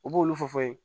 U b'olu fɔ fɔ ye